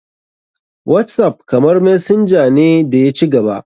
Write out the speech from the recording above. Whatsapp kamar messenger ne da ya ci gaba.